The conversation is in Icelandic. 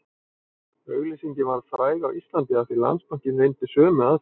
Auglýsingin varð fræg á Íslandi af því Landsbankinn reyndi sömu aðferð